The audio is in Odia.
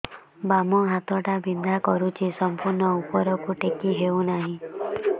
ବାମ ହାତ ଟା ବିନ୍ଧା କରୁଛି ସମ୍ପୂର୍ଣ ଉପରକୁ ଟେକି ହୋଉନାହିଁ